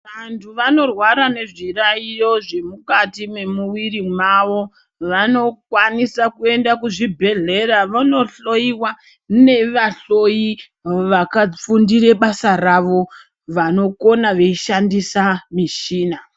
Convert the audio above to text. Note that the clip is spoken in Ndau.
Vantu vano rwara ngezvi yayiyo zviri mukati me muviri yavo vanokwanise kuenda kuzvi bhedhlera vono dhloyiwa neva dhloyi vaka fundire basa ravo vanokona veishandisa michina .